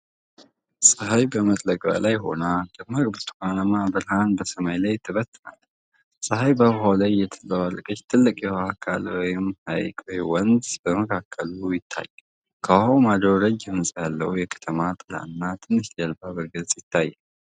ፀሐይ በመጥለቂያዋ ላይ ሆና ደማቅ ብርቱካናማ ብርሃን በሰማይ ላይ ትበትናለች። ፀሐይ በውሃው ላይ እየተንፀባረቀች፤ ትልቅ የውሃ አካል (ሐይቅ ወይም ወንዝ) በመካከሉ ይታያል። ከውሃው ማዶ ረጅም ህንፃ ያለው የከተማ ጥላና ትንሿ ጀልባ በግልጽ ይታያሉ።